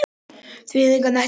Þvinguð af nærveru Mörtu.